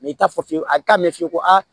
i t'a fɔ a bɛ taa ɲɛ f'i ko a